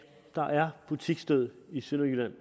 der er butiksdød i sønderjylland